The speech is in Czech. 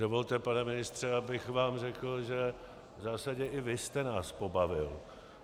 Dovolte, pane ministře, abych vám řekl, že v zásadě i vy jste nás pobavil.